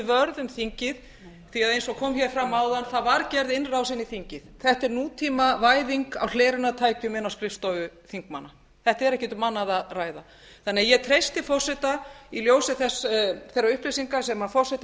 um þingið því að eins og kom fram áðan var gerð innrás inn í þingið þetta er nútímavæðing á hlerunartækjum inn á skrifstofur þingmanna þetta er ekki um annað að ræða ég treysti forseta í ljósi þeirra upplýsinga sem forseti